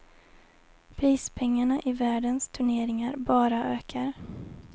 Prispengarna i världens turneringar bara ökar.